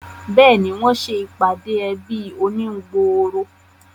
Béèni, wọ́n se ìpàdé ẹbí oníhun gbòòrò